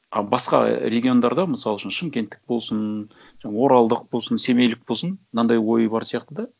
ы басқа региондарда мысал үшін шымкенттік болсын жаңа оралдық болсын семейлік болсын мынандай ойы бар сияқты да